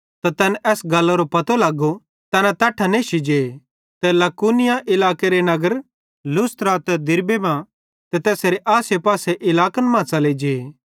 त तैन एस गल्लरो पतो लगो तैना तैट्ठां नेश्शी जे ते लुकाउनिया इलाकेरे नगरन लुस्त्रा ते दिरबे मां ते तैसेरे आसेपासेरे इलाके मां च़ले जे